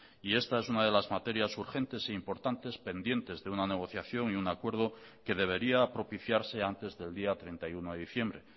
y esta es una de las materias urgentes e importantes pendientes de una negociación y un acuerdo que debería propiciarse antes del día treinta y uno de diciembre